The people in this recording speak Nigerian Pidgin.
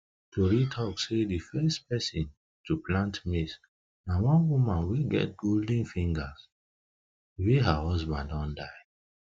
tori talk sey the first person to plant maize na wan woman wey get golden fingers wey her husband don die